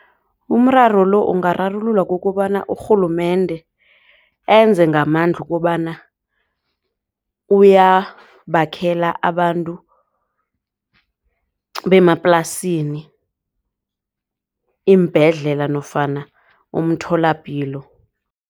Umraro lo ungararululwa kokobana urhulumende enze ngamandla kobana uyabakhela abantu bemaplasini iimbhedlela nofana umtholapilo.